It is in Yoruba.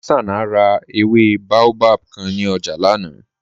Hassana rà èwé bàòbáb kàn ní ọ̀jà lánà.